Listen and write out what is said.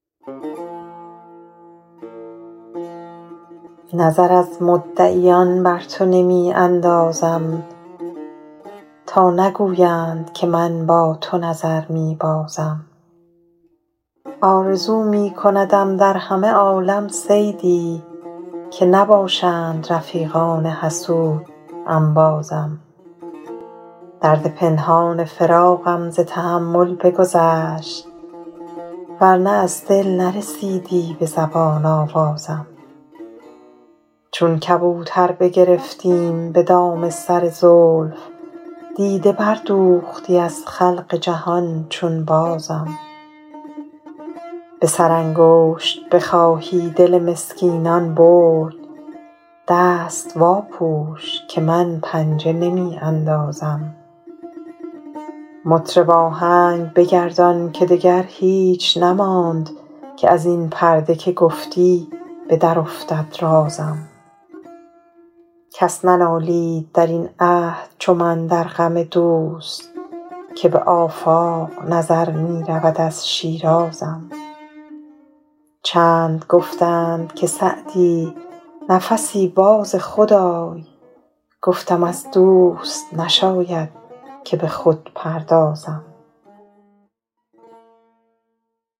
نظر از مدعیان بر تو نمی اندازم تا نگویند که من با تو نظر می بازم آرزو می کندم در همه عالم صیدی که نباشند رفیقان حسود انبازم درد پنهان فراقم ز تحمل بگذشت ور نه از دل نرسیدی به زبان آوازم چون کبوتر بگرفتیم به دام سر زلف دیده بردوختی از خلق جهان چون بازم به سرانگشت بخواهی دل مسکینان برد دست واپوش که من پنجه نمی اندازم مطرب آهنگ بگردان که دگر هیچ نماند که از این پرده که گفتی به درافتد رازم کس ننالید در این عهد چو من در غم دوست که به آفاق نظر می رود از شیرازم چند گفتند که سعدی نفسی باز خود آی گفتم از دوست نشاید که به خود پردازم